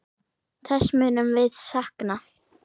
Þess munum við sakna.